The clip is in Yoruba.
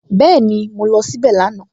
Bẹ́ẹ̀ni, mo lọ síbẹ̀ lánàá